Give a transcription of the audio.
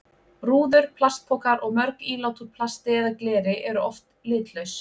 Rúður, plastpokar og mörg ílát úr plasti eða gleri eru oft litlaus.